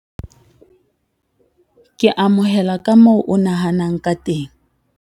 Ke amohela ka moo a nahanang ka teng.